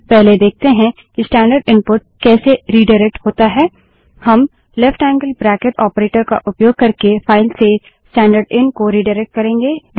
पहले देखते हैं कि स्टैन्डर्ड इनपुट कैसे रिडाइरेक्ट होता है हम ltलेफ्ट ऐंगअल ब्रैकिट ऑपरेटर का उपयोग करके फाइल से स्टैन्डर्डएन को रिडाइरेक्ट करेंगे